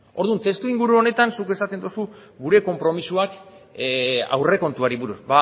orduan testu inguru honetan zuk esaten duzu gure konpromisoak aurrekontuari buruz